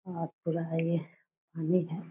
और पूरा है ये है।